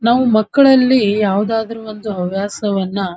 ನಾವ್ ಮಕ್ಕಳಲ್ಲಿ ಯಾವದಾದ್ರು ಒಂದು ಹವ್ಯಾಸವನ್ನ --